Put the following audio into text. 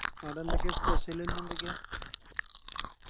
ആടെ എന്തൊക്കെയാ Special ഇന്നെന്തൊക്കെയാ